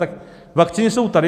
Tak vakcíny jsou tady.